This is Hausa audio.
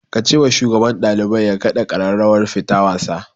Ka ce wa shugaban ɗalibai ya kaɗa ƙararrawar fita wasa